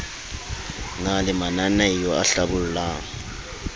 na le mananaeo a hlabollang